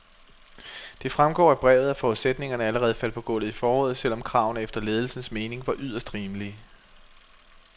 Det fremgår af brevet, at forudsætningerne allerede faldt på gulvet i foråret, selv om kravene efter ledelsens mening var yderst rimelige.